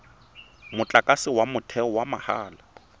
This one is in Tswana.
motlakase wa motheo wa mahala